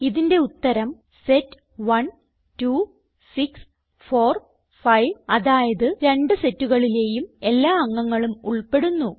ഇതിന്റെ ഉത്തരം സെറ്റ് 1 2 6 4 5 അതായത് രണ്ട് സെറ്റുകളിലേയും എല്ലാ അംഗങ്ങളും ഉൾപ്പെടുന്നു